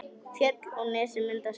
Fjöll og nesið mynda skjól.